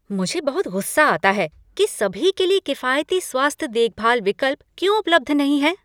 मैं बहुत गुस्सा आता है कि सभी के लिए किफ़ायती स्वास्थ्य देखभाल विकल्प क्यों उपलब्ध नहीं हैं।